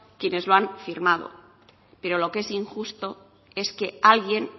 quienes lo han firmado pero lo que es injusto es que alguien